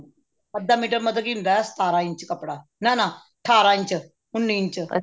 ਅੱਧਾ ਮੀਟਰ ਮਤਲਬ ਕੀ ਹੁੰਦਾ ਸਤਾਰਾਂ ਇੰਚ ਕੱਪੜਾ ਨਾ ਨਾ ਠਾਰਾਂ ਇੰਚ ਉੰਨੀ ਇੰਚ